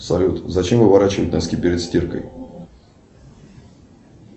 салют зачем выворачивать носки перед стиркой